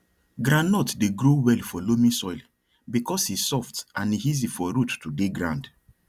groundnut dey grow well for loamy soil because e soft and e easy for root to dey ground